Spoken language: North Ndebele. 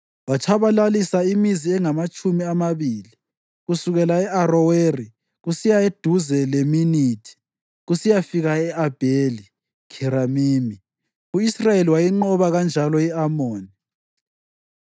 Watshabalalisa imizi engamatshumi amabili kusukela e-Aroweri kusiya eduze leMinithi, kusiyafika e-Abheli-Kheramimi. U-Israyeli wayinqoba kanjalo i-Amoni.